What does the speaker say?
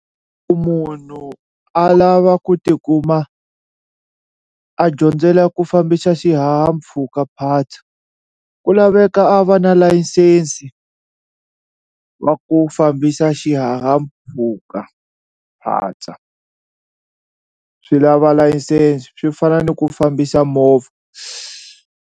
Munhu a lava ku tikuma a dyondzela ku fambisa xihahampfhukaphatsa ku laveka a va na layisensi va ku fambisa xihahampfhukaphatsa swi lava license swi fana ni ku fambisa movha.